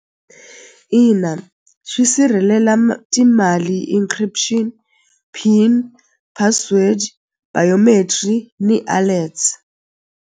Ina xi sirhelela timali encryption pin password biometry ni alerts.